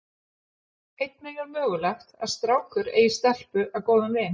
Einnig er mögulegt að strákur eigi stelpu að góðum vin.